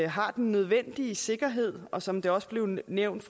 har den nødvendige sikkerhed og som det også blev nævnt